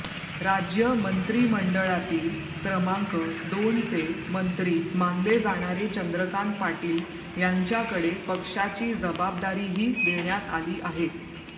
राज्य मंत्रिमंडळातील क्रमांक दोनचे मंत्री मानले जाणारे चंद्रकांत पाटील यांच्याकडे पक्षाची जबाबदारीही देण्यात आली आहे